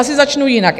Asi začnu jinak.